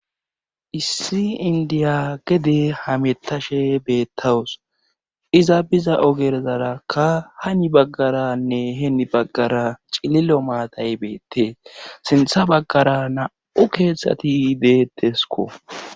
issi indiya gede hametashe beettawus iza biza ogerzarakka hani baggaranne heeni baggara cililo maatay beettee sintha baggara na7u keeththati deettesko